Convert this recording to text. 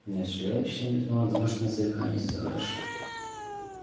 но из чудовища мирного домашнего зверька не сделаешь